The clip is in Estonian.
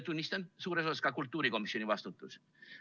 Tunnistan: suures osas on see kultuurikomisjoni vastutus.